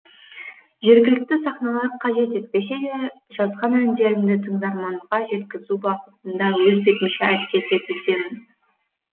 жергілікті сахналар қажет етпесе де жазған әндерімді тыңдарманға жеткізу бағытында өз бетімше әрекет етудемін